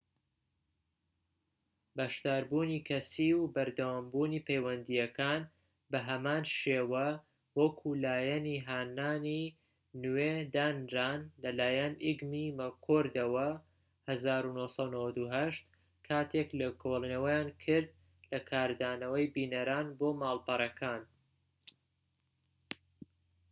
"بەشداربوونی کەسیی و بەردەوامبوونی پەیوەندیەکان بە هەمان شێوە وەکو لایەنی هانانی نوێ دانران لەلایەن ئیگمی و مەککۆردەوە ١٩٩٨ کاتێك لێکۆڵێنەوەیان کرد لە کاردانەوەی بینەران بۆ ماڵپەڕەکان